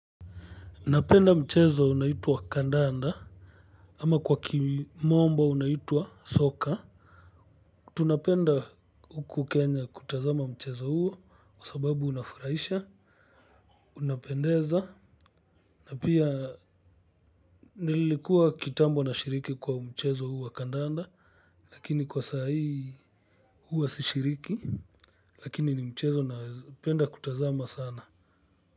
Napenda mchezo unaitwa kandanda. Ama kwa kimombo unaitwa soka. Tunapenda huku Kenya kutazama mchezo huo. Kwa sababu unafurahisha. Unapendeza. Na pia nilikua kitambo nashiriki kwa mchezo huu wa kandanda. Lakini kwa saa hii huwa si shiriki. Lakini ni mchezo na penda kutazama sana.